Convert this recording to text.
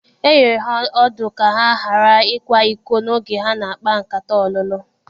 E nyere ha ọdụ ka ha ghara ịkwa iko n'oge ha na-akpa nkata ọlụlụ.